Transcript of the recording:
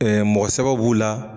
mɔgɔ sɛbɛ b'u la.